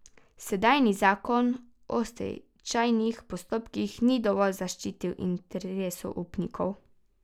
Sedanji zakon o stečajnih postopkih ni dovolj zaščitil interesov upnikov.